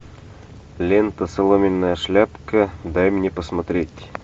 лента соломенная шляпка дай мне посмотреть